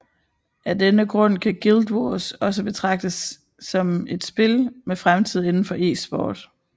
Af denne grund kan Guild Wars også betragtes som et spil med fremtid inden for eSport